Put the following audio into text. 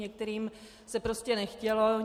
Některým se prostě nechtělo.